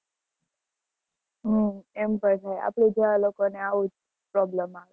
હમ આપડે ત્યાં લોકો ને આવું જ problem આવે